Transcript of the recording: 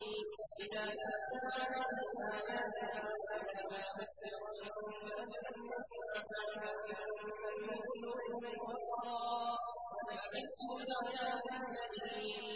وَإِذَا تُتْلَىٰ عَلَيْهِ آيَاتُنَا وَلَّىٰ مُسْتَكْبِرًا كَأَن لَّمْ يَسْمَعْهَا كَأَنَّ فِي أُذُنَيْهِ وَقْرًا ۖ فَبَشِّرْهُ بِعَذَابٍ أَلِيمٍ